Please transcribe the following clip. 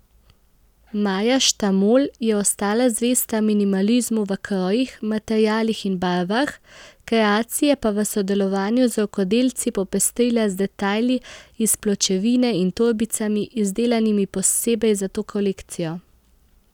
Maja Štamol je ostala zvesta minimalizmu v krojih, materialih in barvah, kreacije pa je v sodelovanju z rokodelci popestrila z detajli iz pločevine in torbicami, izdelanimi posebej za to kolekcijo.